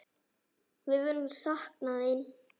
Við munum sakna þín.